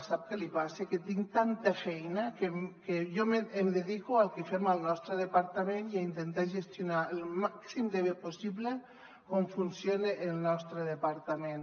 sap què passa que tinc tanta feina que jo em dedico al que fem al nostre departament i a intentar gestionar el màxim de bé possible com funciona el nostre departament